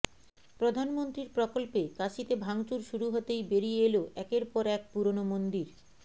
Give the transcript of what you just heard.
প্রধানমন্ত্রীর প্রকল্পে কাশীতে ভাঙচুর শুরু হতেই বেরিয়ে এল একের পর এক পুরনো মন্দির